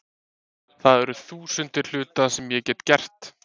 Það eru þúsundir hluta sem ég get gert.